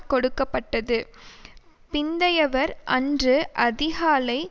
கொடுக்க பட்டது பிந்தையவர் அன்று அதிகாலை